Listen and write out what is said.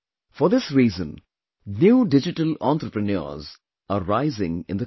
For this reason, new digital entrepreneurs are rising in the country